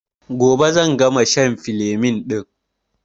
Gobe zan gama shan filemin ɗin